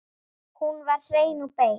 Hún var hrein og bein.